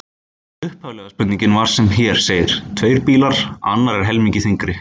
Upphaflega spurningin var sem hér segir: Tveir bílar, annar er helmingi þyngri.